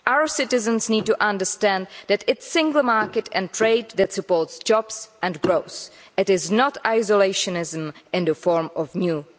Our citizens need to understand that it is the single market and trade that supports jobs and growth, it is not isolationism in the form of new barriers.